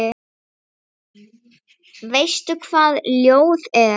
Veistu hvað ljóð er?